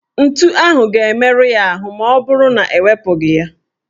Ntu ahụ ga-emerụ ya ahụ maọbụrụ na ewepụghị ya.